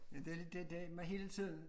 Det lidt det det med hele tiden